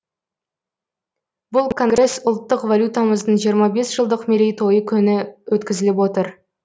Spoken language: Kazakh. бұл конгресс ұлттық валютамыздың жиырма бес жылдық мерейтойы күні өткізіліп отыр